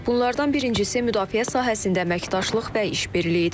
Bunlardan birincisi müdafiə sahəsində əməkdaşlıq və iş birliyidir.